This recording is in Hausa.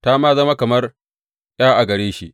Ta ma zama kamar ’ya a gare shi.